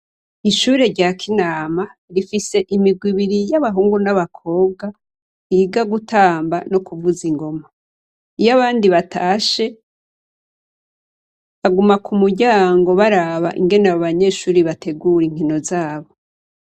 Ishure rya kinama rifise imigwi ibiri y'abahungu n'abakobwa biga gutamba no kuvuza ingoma, iyo abandi batashe baguma ku muryango baraba ingene abanyeshure bategura inkino zabo.